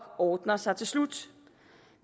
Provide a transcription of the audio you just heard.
ordner sig til slut